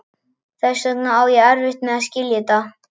Þess vegna á ég erfitt með að skilja þetta.